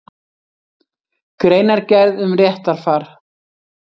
Greinargerð um réttarfar.